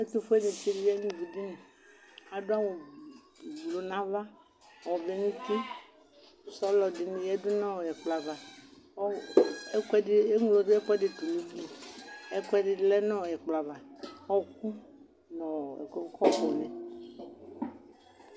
Ɛtʋfuenɩtsɩ ɖʋ ivuɖiniAɖʋ awʋ ɛblu nʋ ava, ɔvɛ nʋ utiSɔlɔ ɖɩnɩ ƴǝdu nʋ ɛƙplɔ ava,